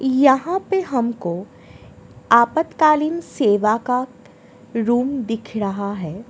यहां पे हमको आपातकालीन सेवा का रूम दिख रहा है ।